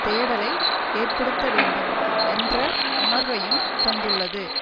தேடலை ஏற்படுத்த வேண்டும் என்ற உணர்வையும் தந்துள்ளது